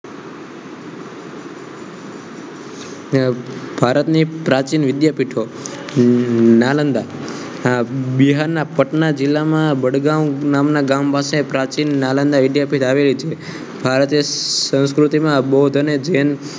ભારતની એક પ્રાચીન વિદ્યાપીઠો નાલંદા બિહારના પટના જિલ્લામાં વડગામ નામના ગામ પાસે પ્રાચીન નાલંદા વિદ્યાપીઠ આવેલી છે ભારતીય સંસ્કૃતિમાં બૌદ્ધ અને જૈન